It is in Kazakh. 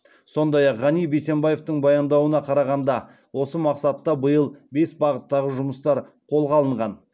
сондай ақ ғани бейсембаевтың баяндауына қарағанда осы мақсатта биыл бес бағыттағы жұмыстар қолға алынған